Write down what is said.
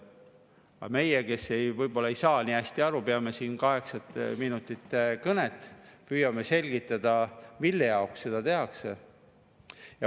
Aga meie, kes me võib-olla ei saa nii hästi aru, peame siin kaheksa minutit kõnet, püüame selgitada, mille jaoks seda tehakse.